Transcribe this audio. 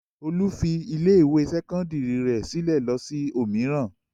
Olú fi ilé-ìwé sẹ́kọ́ndárì rẹ̀ sílẹ̀ lọ sí òmíràn.